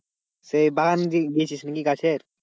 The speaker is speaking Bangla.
সেই বাগান দিয়ে, দিয়েছিস নাকি গাছের?